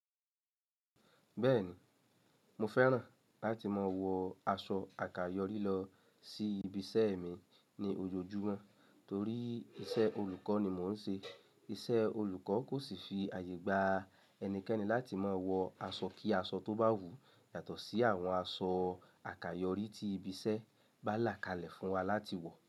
Bẹ́ẹ̀ni, mo fẹ́ràn láti máa wọ aṣọ àkàyọ́rí lọ sí ibiṣẹ́ mi ní ojoojúmọ́ torí iṣẹ́ olùkọ́ ni mò ń ṣe. Iṣẹ́ olùkọ́ kò sì fi àyè gba ẹnikẹ́ni láti máa wọ aṣọ kí aṣọ tó bá wù yàtọ̀ sí àwọn aṣọ àkàyọ́rí tí ibiṣẹ́ bá là kalẹ̀ fún wa láti wọ̀